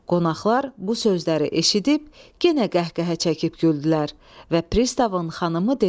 Qonaqlar bu sözləri eşidib yenə qəhqəhə çəkib güldülər və pristavın xanımı dedi: